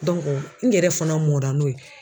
n yɛrɛ fana mɔnra n'o ye.